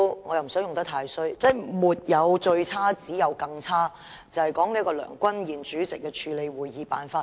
我也不想說得太過分，但原來沒有最差，只有更差，說的是主席梁君彥議員處理會議的手法。